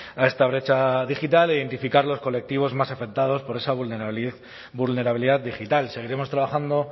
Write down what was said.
a esta brecha digital e identificar los colectivos más afectados por esa vulnerabilidad digital seguiremos trabajando